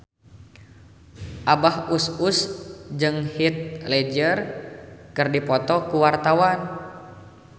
Abah Us Us jeung Heath Ledger keur dipoto ku wartawan